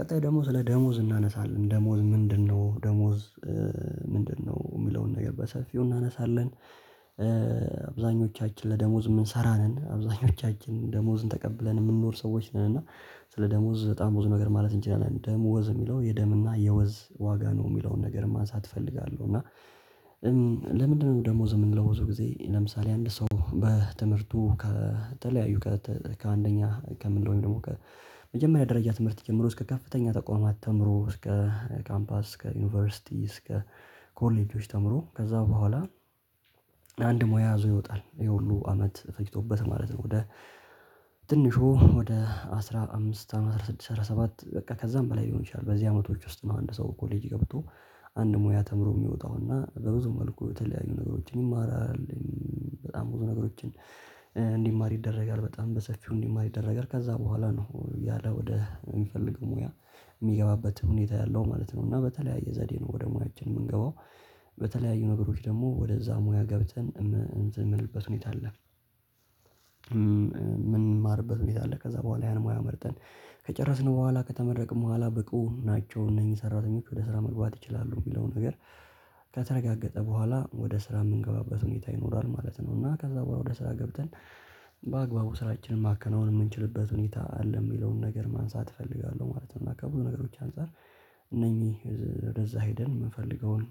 ቀጣይ ደግም ስለ ደሞዝ እናነሳለን ደሞዝ ምንድነው ደሞዝ ምንድነው የሚለውን ነገር በሰፊው እናነሳለን። አብዛኞቻችን ለደሞዝ የምንሰራ ነን አብዛኞቻችን ደሞዝን ተቀብለን የምንኖር ሰዎች ነን። እና ስለ ደሞዝ በጣም ብዙ ነገር ማለት እንችላለን። ደም ወዝ የሚለው የደም እና የወዝ ዋጋ ነው የሚለውን ነገር ማንሳት እፈልጋለሁ። እና ለምንድነው ደሞዝ? የምንለው ብዙ ጊዜ ለምሳሌ አንድ ሰው በትምህርቱ ከተለያዩ ከአንደኛ ከምንለው ደግሞ ከመጀመሪያ ደረጃ ትምህርት ጀምሮ እስከ ከፍተኛ ተቋማት ተምሮ እስከ ካምፓስ እስከ ዩኒቨርሲቲ እስከ ኮሌጆች ተምሮ ከዛ በኋላ አንድ ሙያ ይዞ ይወጣል። ይሄ ሁሉ አመት ፈጅቶበት ማለት ነው። ወደ ትንሹ ወደ አስራ አምስት አመት አስራ ስድስት አስራ ሰባት በቃ ከዛም በላይ ሊሆን ይችላል። በዚህ አመቶች ውስጥ ነው አንድ ሰው ኮሌጅ ገብቶ አንድ ሙያ ተምሮ የሚወጣውና በብዙ መልኩ የተለያዩ ነገሮችን ይማራል። በጣም ብዙ ነገሮችን እንዲማር ይደረጋል በጣም በሰፊው እንዲማር ይደረጋል። ከዛ በኋላ ነው ያለው ወደ የሚፈልገው ሙያ የሚገባበት ሁኔታ ያለው ማለት ነው። እና በተለያየ ዘዴ ነው ወደ ሙያችን የምንገባው በተለያዩ ነገሮች ደግሞ ወደዛ ሙያ ገብተን እንትን የምንልበት ሁኔታ አለ። ምንማርበት ቤት አለ ከዛ በኋላ ያን ሙያ መርጠን ከጨረስን በኋላ ከተመረቅን በኋላ ብቁ ናቸው። እነዚህን የሰራተኞት ወደ ስራ መግባት ይችላሉ የሚለው ነገር ከተርጋገጠ በኋላ በኋላ ወደ ስራ የምንገባበት ሁኔታ ይኖራል ማለት ነው። እና ከዛ በኋላ ወደ ስራ ገብተን በአግባቡ ስራችንን ማከናወን የምንችልበት ሁኔታ አለ የሚለውን ነገር ማንሳት እፈልጋለሁ ማለት ነው። ከብዙ ነገሮች አንፃር እነኚ ወደዛ ሄደን የምፈልገውን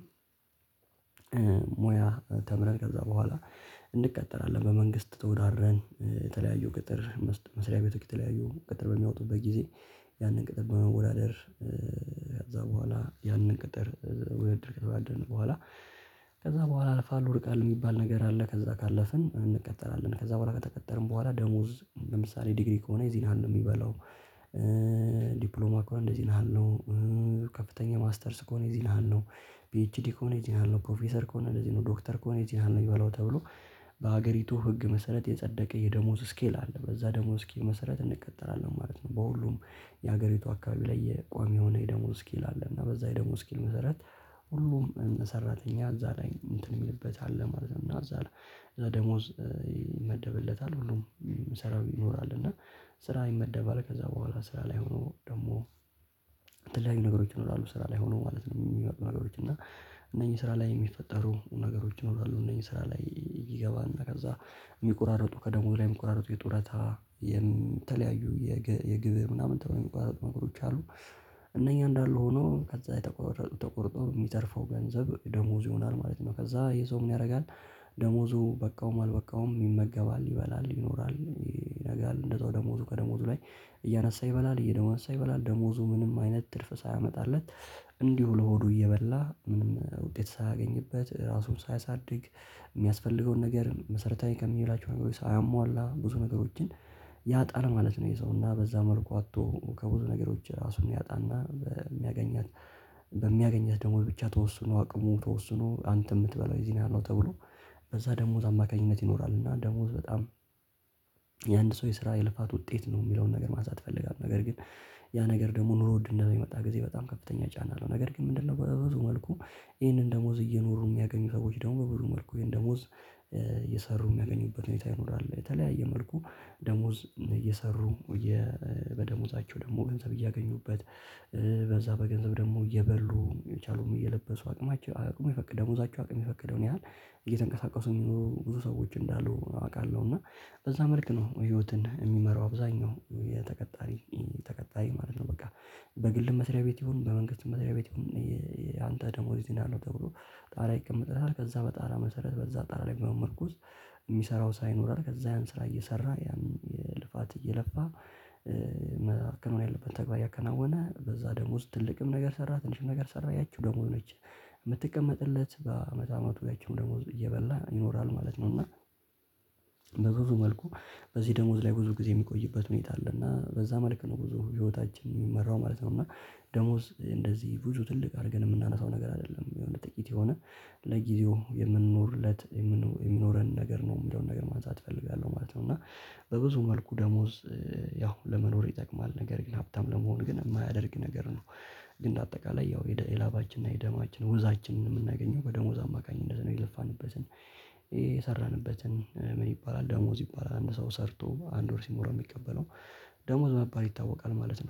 ሙያ ተምረን ከዛ በኋላ እንቀጠራለን። በመንግስት ተወዳደረን የተለያዩ ቅጥር መስሪያቤቶዎች የተለያዩ ቅጥር በሚያወጡበት ጊዜ ያንን ቅጥር በመወዳደር ከዛ በኋላ ያንን ቅጥር ከተወዳደርን በኋላ ከዛ በኋላ አልፋል ወርቃል የሚባል ነገር አለ ከዛ ካለፍን እንቀጠራለን። ከዛ በኋላ ከተቀጠርን በኋላ ደሞዝ ለምሳሌ ዲግሪ ከሆነ እዚህን የህል ነው የሚበላው። ዲፕሎማ ከሆነ እንደዚህ ያህል ነው ከፍተኛ ማስተርስ ከሆነ የዚህን ያህል ነው ቢኤችዲ ከሆነ የዚህን ያህል ነው ፕሮፌሰር ከሆነ የዚህን ያህል ነው የሚባለው ተብሎ በሀገሪቱ ህግ መሰረት የጸደቀ የደሞዝ ስኬል አለ በዛ ደሞዝ ስኬል መሰረት እንቀጠራለን ማለት ነው። በሁሉም የሀገሪቱ አካባቢ ላይ የቋሚ የሆነ የደሞዝ ስኪል አለና በዛ የደሞዝ ስኪል መሰረት ሁሉም ሰራተኛ እዛ ላይ እንትን የሚልበት አለ ማለት ነው። እዛ ላይ ደሞዝ ይመደብለታል ሁሉም ሰራው ይኖራል። እና ስራ ይመደባል ከዛ በኋላ ስራ ላይ ሆኖ ደግሞ የተለያዬ ነገሮች ይሆናሉ ስራ ላይ ሆኖ ማለት ነው የሚመጡ ነገሮች እና እነኚህ ስራ ላይ የሚፈጠሩ ነገሮች ይኖራሉ። እነዚህ ስራ ላይ ይገባና ከዛ የሚቆራርጡ ከደሞዝ ላይ የሚቆራርጡ የጡረታ የተለያዩ የግብር ምናምን ተብሎ የሚቋራረጡ ነገሮች አሉ። እነኚህ እንዳሉ ሆኖ ከዛ የተቋረጡ ተቆርጦ የሚተርፈው ገንዘብ ደሞዙ ይሆናል ማለት ነው። ከዛ ይሄ ሰው ምን ያደርጋል? ደሞዙ በቃውም አልበቃውም ይመገባል ይበላል ይኖራል ይነጋል እንደው ደሞዙ ከደሞዙ ላይ እያነሳ ይበላል እየደሞዙ እያንሳ ይበላል ደሞዙ ምንም አይነት ትርፍ ሳያመጣለት እንዲሁ ለሆዱ እየበላ ምንም ውጤት ሳያገኝበት ራሱን ሳያሳድግ የሚያስፈልገውን ነገር መሰረታዊ ከሚላቸው ሳያሟላ ብዙ ነገሮችን ያጣል ማለት ነው። የሰውና በዛ መልኩ አጥቶ ከብዙ ነገሮች ራሱን ያጣና በሚያገኛት በሚያገኛት ደግሞ ብቻ ተወስኖ አቅሙ ተወስኖ አንተ የምትበላው የዚህ ነው ያለው ተብሎ በዛ ደሞዝ አማካኝነት ይኖራል። እና ደሞዝ በጣም የአንድ ሰው የስራ የልፋት ውጤት ነው የሚለውን ነገር ማሳየት እፈልጋለሁ። ነገር ግን ያ ነገር ደግሞ ኑሮ ውድ እንደሚመጣ ጊዜ በጣም ከፍተኛ ጫና ነው። ነገር ግን ምንድነው? በበዙ መልኩ ይሄንን ደሞዝ እየኖሩ የሚያገኙ ሰዎች ደግሞ በብዙ መልኩ ወይም ደሞዝ እየሰሩ የሚያገኙበት ሁኔታ ይኖራል። የተለያየ መልኩ ደሞዝ እየሰሩ በደሞዛቸው ደግሞ ገንዘብ እያገኙበት በዛ በገንዘብ ደግሞ እየበሉ የቻሉም እየለበሱ አቅማቸው አቅሙ የፈቀደው ደሞዛቸው አቅም የፈቀደውን ያህል እየተንቀሳቀሱን የሚኖሩ ብዙ ሰዎች እንዳሉ አውቃለሁ። እና በዛ መልክ ነው ህይወትን የሚመራው አብዛኛው የተቀጣሪ ማለት ነው። በቃ በግል መስሪያ ቤት ይሁን በመንግስት መስሪያ ቤት ይሁን ዲፕሎማው እንደዚህ ያህል ነው። ከፍተኛ ማስተርስ ከሆነ እዚህን ያህል ነው ቢኤችዲ ከሆነ የዚህን ያህል ነው ፕሮፌሰር ኮኔቲን ነው የሚባለው ተብሎ የሚስራው ስራ ይሆራል። ከዛ ያን ስራ የስራ ልፍት እየለፋ ማከናወን ያለበትን ተግባር እያከናወነ በዚያ ደሞዝ ትልቅ ነገር ሰራ ትንሽም ነገር ሰራ ያቺኑ ደሞዙ እየበላ ይኖራል ማለት ነው። መልኩ በዚህ ደሞዝ ብዙ ጊዜ የሚቆይበት ሁኔታ አለና በዛ መልክ ነው ብዙ ሂወታችን ሚመራው ማለት ነው። እና ደሞዝ እንደዚህ ብዙ ትልቅ አርገን የምናነሳው ነገር አይደለም። ለጊዜው የምንኖርለት የሚኖርን ነገር ነው የሚለውን ነገር የሚለውን ነገር ማንሳት እፈልጋለው ማለት ነው። እና በብዙ መልኩ ደሞዝ ያው ለመኖር ይጠቅማል። ነገር ግን ሀብታም ለመሆን ግን የማያደርግ ነገር ነው። ባጠቃላይ የላባችን የደምአችን ወዛችን የምናገኝው በደሞዝ አማካኝነት ነው። የለፋንበትን የስራንበትን ምን ይባላል ደሞዝ ይባላል። አንድ ሰው ሰርቶ አንድ ወር ሲሞለው የሚቀበለው ደሞዝ በመባል ይታወቃ ማለት ነው